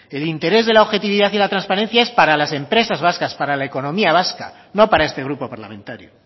el interés de la objetividad y la transparencia es para las empresas vascas para la economía vasca no para este grupo parlamentario